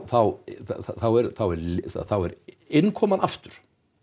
þá er þá er innkoman aftur